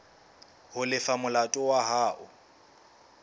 ho lefa molato wa hao